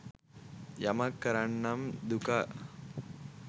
යමක් කරන්නම් දුකා